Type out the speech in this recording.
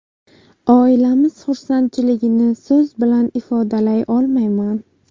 Oilamiz xursandchiligini so‘z bilan ifodalay olmayman.